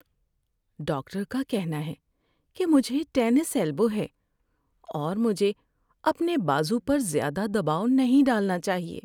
Doctor کا کہنا ہے کہ مجھے ٹینس ایلبو ہے اور مجھے اپنے بازو پر زیادہ دباؤ نہیں ڈالنا چاہیے۔